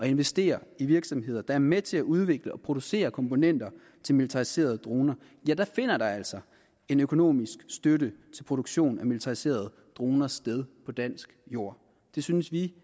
investere i virksomheder der er med til at udvikle og producere komponenter til militariserede droner finder der altså en økonomisk støtte til produktion af militariserede droner sted på dansk jord det synes vi